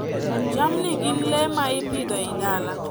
Jamni gin le ma ipidho e dala.